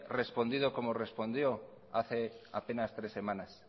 respondido como respondió hace apenas tres semanas